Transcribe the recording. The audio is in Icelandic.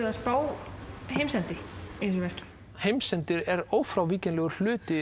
að spá heimsendi í þessu verki heimsendir er ófrávíkjanlegur hluti